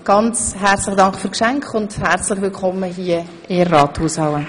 Ganz herzlichen Dank für die Geschenke und herzlich willkommen hier im Ratssaal.